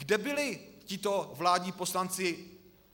Kde byli tito vládní poslanci?